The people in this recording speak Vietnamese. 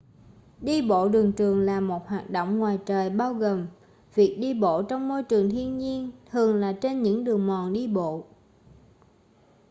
đi bộ đường trường là một hoạt động ngoài trời bao gồm việc đi bộ trong môi trường thiên nhiên thường là trên những đường mòn đi bộ